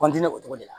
kɔntiniye o togo de la